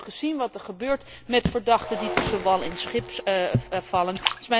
We hebben ook gezien wat er gebeurt met verdachten die tussen wal en schip vallen.